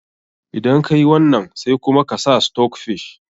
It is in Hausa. Idan ka yi wannan, sai kuma ka sa stockfish.